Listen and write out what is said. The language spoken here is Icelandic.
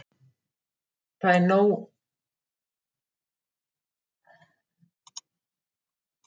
Það var nóg að frétta úr fótboltanum í Evrópu í dag.